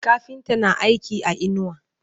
kafinta na aiki a inuwa